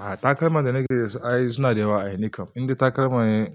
Ah takalma da nake da su ai suna da yawa ai nikam. Indai takalma ne